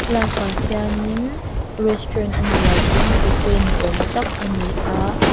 lâkah hianin restaurant a nih loh pawn cafe ni âwm tak a ni a.